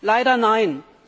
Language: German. Leider nein.